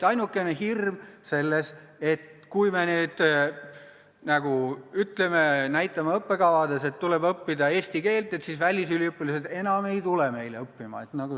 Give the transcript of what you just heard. Ainukene hirm on see, et kui me nüüd ütleme – näitame õppekavades –, et õppida tuleb eesti keelt, siis välisüliõpilased ei tule meile enam õppima.